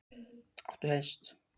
Þórhildur: Áttu hest?